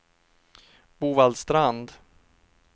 Bovallstrand